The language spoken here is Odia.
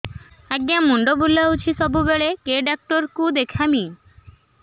ଆଜ୍ଞା ମୁଣ୍ଡ ବୁଲାଉଛି ସବୁବେଳେ କେ ଡାକ୍ତର କୁ ଦେଖାମି